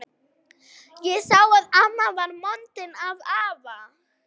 Ég sá að amma var montin af afa.